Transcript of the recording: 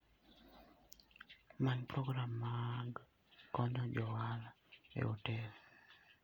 Many program mag konyo jo ohala e otel.